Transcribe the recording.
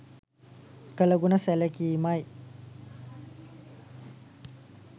කළ ගුණ සැලකීමයි.